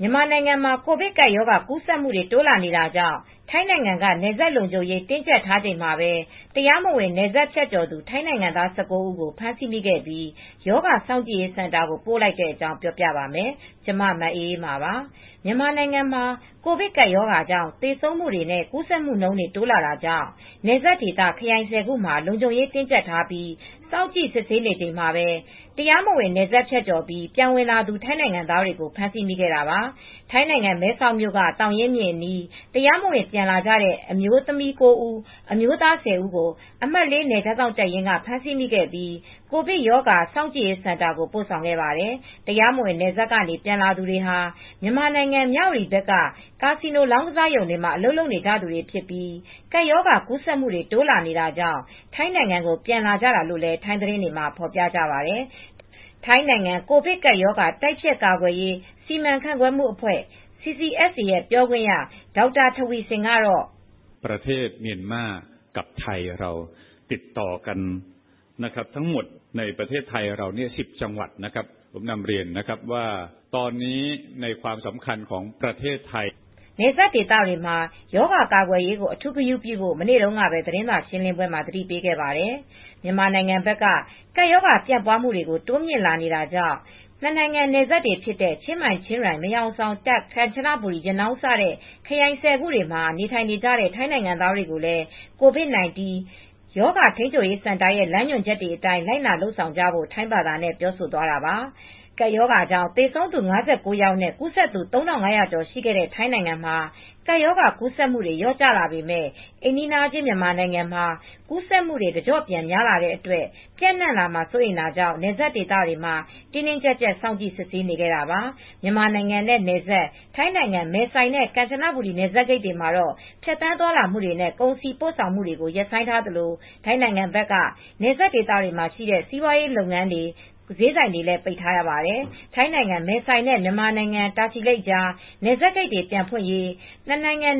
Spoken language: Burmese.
မြန်မာနိုင်ငံမှာ ကိုဗစ်ကပ်ရောဂါ ကူးစက်မှုတွေ တိုးလာနေတာကြောင့် ထိုင်းနိုင်ငံက နယ်စပ်လုံခြုံရေး တင်းကြပ်ထားချိန်မှာပဲ တရားမဝင် နယ်စပ်ဖြတ်ကျော်သူ ထိုင်းနိုင်ငံသား ၁၉ ဦးကို ဖမ်းဆီးမိခဲ့ပြီး၊ ရောဂါစောင့်ကြည့်ရေးစင်တာကို ပို့လိုက်တဲ့အကြောင်း ပြောပြပါမယ်။ ဗွီအိုအေမြန်မာပိုင်းသတင်းထောက် မအေးအေးမာက ထိုင်းမြန်မာနယ်စပ်ကနေ သတင်းပေးပို့ထားပါတယ်။ မြန်မာနိုင်ငံမှာ ကိုဗစ်ကပ်ရောဂါကြောင့် သေဆုံးမှုတွေနဲ့ ကူးစက်မှုတွေ တိုးလာနေတာကြောင့် နယ်စပ်ဒေသ ခရိုင် ၁၀ ခုမှာ လုံခြုံရေးတင်းကြပ်ထားပြီး စောင့်ကြည့်စစ်ဆေးနေချိန်မှာပဲ တရားမဝင် နယ်စပ်ဖြတ်ကျော်ပြီး ပြန်ဝင်လာသူ ထိုင်းနိုင်ငံသားတွေကို ဖမ်းဆီးမိခဲ့တာပါ။ ထိုင်းနိုင်ငံမဲဆောက်မြို့က သောင်ရင်းမြစ်အနီး တရားမဝင် ပြန်ဝင်လာတဲ့ အမျိုးသမီး ၉ ဦး၊ အမျိုးသား ၁၀ ဦးကို အမှတ် (၄) နယ်ခြားစောင့်တပ်ရင်းက ဖမ်းဆီးမိခဲ့ပြီး ကိုဗစ်ရောဂါစောင့်ကြည့်ရေး စင်တာကို ပိုဆောင်ခဲ့ပါတယ်။ တရားမဝင် နယ်စပ်ကနေ ပြန်လာသူတွေဟာ မြန်မာနိုင်ငံ မြဝတီဘက်က ကာစီနိုလောင်းကစားရုံတွေမှာ အလုပ်လုပ်နေကြသူတွေဖြစ်ပြီး ကပ်ရောဂါ ကူးစက်မှုတွေ တိုးလာနေတာကြောင့် ထိုင်းနိုင်ငံကို ပြန်လာကြတာလို့လည်း ထိုင်းသတင်းတွေမှာ ဖော်ပြကြပါတယ်။ ထိုင်းနိုင်ငံ ကိုဗစ်ကပ်ရောဂါ တိုက်ဖျက်ကာကွယ်ရေး စီမံခန့်ခွဲမှုအဖွဲ့ (CCSA) ပြောခွင့်ရ Dr. Taweesilp Visanuyothin ကတော့ နယ်စပ်ဒေသတွေမှာ ရောဂါကာကွယ်ရေးကို အထူးဂရုပြုဖို့ မနေ့တုန်းကပဲ သတင်းစာရှင်းလင်းပွဲမှာ သတိပေးခဲ့ပါတယ်။ မြန်မာနိုင်ငံဘက်က ကပ်ရောဂါပြန့်ပွားမှုတွေ တိုးမြင့်လာတာကြောင့် နှစ်နိုင်ငံနယ်စပ်တွေဖြစ်တဲ့ ချင်းမိုင်-ချင်းရိုင် မဲဟောင်ဆောင် တာ့ခ်- ကမ်ချနဘူရီ ရနောင်းစတဲ့ ခရိုင် ၁၀ ခုမှာ နေထိုင်နေတဲ့ ထိုင်းနိုင်ငံသားတွေကိုလည်း ကိုဗစ်-၁၉ ရောဂါထိန်းချုပ်ရေး စင်တာရဲ့ လမ်းညွန်ချက်တွေအတိုင်း လိုက်နာ လုပ်ဆောင်ကြဖို့ ထိုင်းဘာသာနဲ့ ပြောဆိုသွားတာပါ။ ကိုဗစ်ကပ်ရောဂါကြောင့် သေဆုံးသူ ၅၉ ယောက်နဲ့ ကူးစက်သူ ၃,၅၀၀ ကျော် ရှိခဲ့တဲ့ ထိုင်းနိုင်ငံမှာ ကပ်ရောဂါကူးစက်မှုတွေ လျော့ကျလာပေမဲ့ အိမ်နီးချင်း မြန်မာနိုင်ငံမှာ ကူးစက်မှုတွေ တကျော့ပြန်များလာတဲ့အတွက် ပျံ့နှံ့လာမှာ စိုးရိမ်တာကြောင့် နယ်စပ်ဒေသတွေမှာ တင်းတင်းကြပ်ကြပ် စောင့်ကြည့်စစ်ဆေးနေတာပါ။ မြန်မာနိုင်ငံနဲ့နယ်စပ် ထိုင်းနိုင်ငံ မဲဆိုင်နဲ့ ကမ်ချဘူရီ နယ်စပ်ဂိတ်တွေမှာ ဖြတ်သန်းသွားလာမှုတွေနဲ့ ကုန်စည်ပို့ဆောင်မှုတွေကို ရပ်ဆိုင်းထားသလို ထိုင်းနိုင်ငံဘက်က နယ်စပ်ဒေသတွေမှာ ရှိတဲ့ စီးပွားရေးလုပ်ငန်းတွေ ဈေးဆိုင်တွေလည်း ပိတ်ထားရပါတယ်။ ထိုင်းနိုင်ငံ မဲဆိုင်နဲ့ မြန်မာနိုင်ငံ တာချီလိတ်ကြား နယ်စပ်ဂိတ်တွေ ပြန်ဖွင့်ရေး